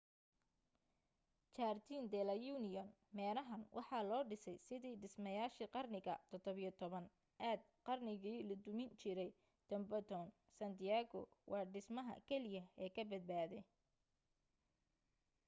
jardin de la union.meerahan waxaa loo dhisay sidii dhismayaashii qarnigii 17 aad qarnigii la dumin jiray tempedon san diego waa dhismaha keliya ee kabadbaaday